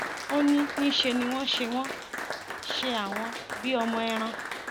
ó ní níṣẹ ni wọn ṣe wọn ṣe àwọn bíi ọmọ ẹran